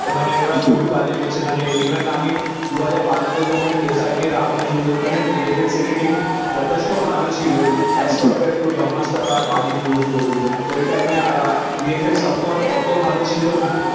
মানে ওরা খুবই বাজে করছে মানে ইভেন আমি দু হাজার বারোতে যখন SRK এর রা ওয়ান এসেছিলো ওখানে VFX এডিটিং যথেষ্ট ভালো ছিল এস কম্পারেড তো ব্রহ্মাস্ত্র বা আদিপুরুষ বলুন ওই টাইম এ আহ VFX অফকোর্স অটো ভালো ছিল না